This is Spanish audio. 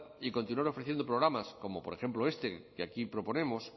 y continuar ofreciendo programas como por ejemplo este que aquí proponemos